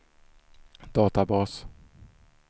databas